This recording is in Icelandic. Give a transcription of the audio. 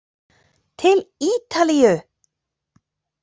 Til Ítalíu!